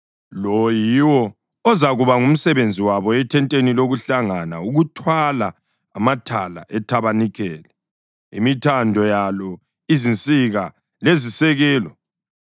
Lo yiwo ozakuba ngumsebenzi wabo ethenteni lokuhlangana: ukuthwala amathala ethabanikeli, imithando yalo, izinsika lezisekelo,